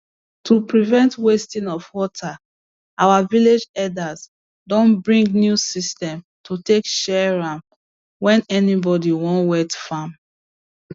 to prevent wasting of water our village elders don bring new system to take share am when anybody wan wet farm